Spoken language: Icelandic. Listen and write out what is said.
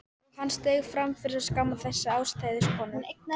Og hann steig fram til að skamma þessa ástheitu konu.